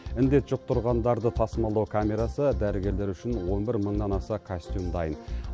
індет жұқтырғандарды тасымалдау камерасы дәрігерлер үшін он бір мыңнан аса костюм дайын